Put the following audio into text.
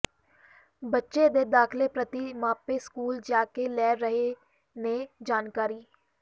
ਬੱਚੇ ਦੇ ਦਾਖ਼ਲੇ ਪ੍ਰਤੀ ਮਾਪੇ ਸਕੂਲ ਜਾ ਕੇ ਲੈ ਰਹੇ ਨੇ ਜਾਣਕਾਰੀ